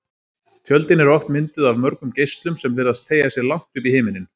Tjöldin eru oft mynduð af mörgum geislum sem virðast teygja sig langt upp í himininn.